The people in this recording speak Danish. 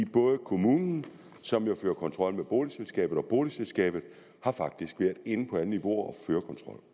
både kommunen som jo fører kontrol med boligselskabet og boligselskabet har faktisk været inde på alle niveauer